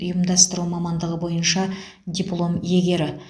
ұйымдастыру мамандығы бойынша диплом иегері